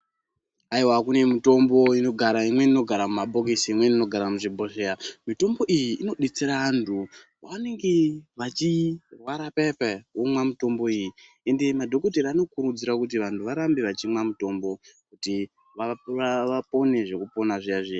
Aiwa kune mitombo inogara mumabhokisi imweni inogara muchibhohleya, mitombo iyi inodetsera antu vanenge achirwara paya paya womwa mitombo iyi ende madhokodheya vanokurudzira antu kuti varambe vachimwa mitombo kuti vapone zvekupona zviya zviya.